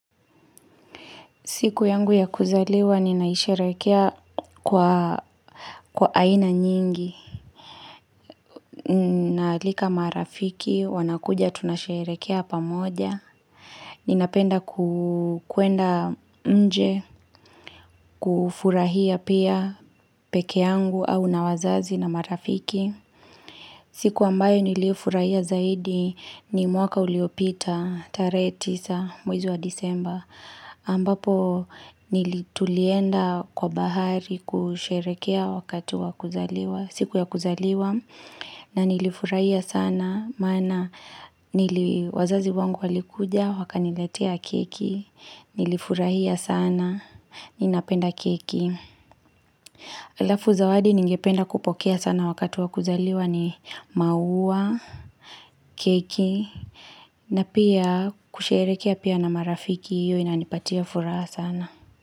Siku yangu ya kuzaliwa, ninaisherehekea kwa aina nyingi. Naalika marafiki, wanakuja tunasherehekea pamoja. Ninapenda kwenda nje, kufurahia pia peke yangu au na wazazi na marafiki. Siku ambayo niliifurahia zaidi ni mwaka uliopita, tarehe tisa, mwezi wa disemba. Ambapo nili tulienda kwa bahari kusherehekea wakati wa kuzaliwa siku ya kuzaliwa na nilifurahia sana maana nili wazazi wangu walikuja wakaniletea keki Nilifurahia sana ninapenda keki alafu zawadi ningependa kupokea sana wakati wa kuzaliwa ni maua, keki na pia kusherehekea pia na marafiki hiyo inanipatia furaha sana.